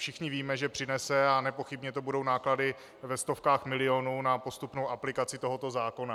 Všichni víme, že přinese, a nepochybně to budou náklady ve stovkách milionů na postupnou aplikaci tohoto zákona.